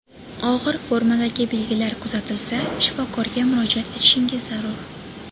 Og‘ir formadagi belgilar kuzatilsa, shifokorga murojaat etishingiz zarur.